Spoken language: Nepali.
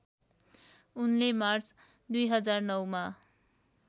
उनले मार्च २००९ मा